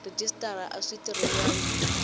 rhejisitara a swi tirhisiwangi hi